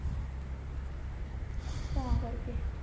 ਤਾਂ ਕਰਕੇ